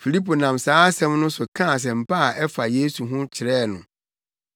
Filipo nam saa asɛm no so kaa nsɛmpa a ɛfa Yesu ho no kyerɛɛ no.